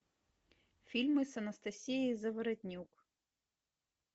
фильмы с анастасией заворотнюк